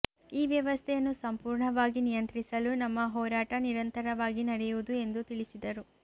ಈ ವ್ಯವಸ್ಥೆಯನ್ನು ಸಂಪೂರ್ಣವಾಗಿ ನಿಯಂತ್ರಿಸಲು ನಮ್ಮ ಹೋರಾಟ ನಿರಂತರವಾಗಿ ನಡೆಯುವುದು ಎಂದು ತಿಳಿಸಿದರು